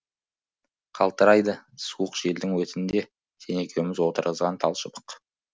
қалтырайды суық желдің өтінде сен екеуміз отырғызған талшыбық